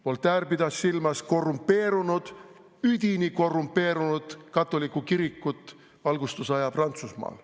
" Voltaire pidas silmas korrumpeerunud, üdini korrumpeerunud katoliku kirikut valgustusaja Prantsusmaal.